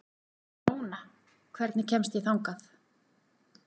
Ramóna, hvernig kemst ég þangað?